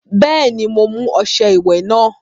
Bẹ́ẹ̀ni, mo mú ọṣẹ ìwẹ̀ náà.